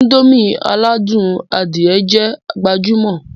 Indomie aládùn adìẹ jẹ́ gbajúmò